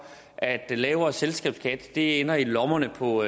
at lavere selskabsskat ender i lommerne på